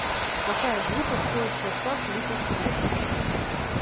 какая группа входит в состав литосферы